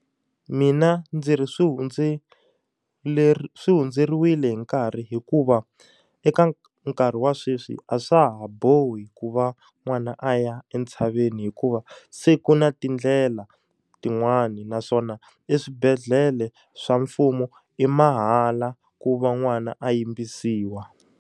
Mina ndzi ri swi swi hundzeriwile hi nkarhi hikuva, eka nkarhi wa sweswi a swa ha bohi ku va n'wana a ya entshaveni. Hikuva se ku na tindlela tin'wani naswona i swibedhlele swa mfumo i mahala ku va n'wana a yimbisiwa.